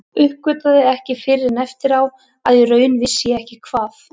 Uppgötvaði ekki fyrr en eftir á að í raun vissi ég ekki hvað